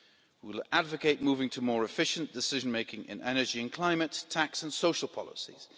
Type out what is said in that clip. We will advocate moving to more efficient decision making in energy and climate, tax and social policies.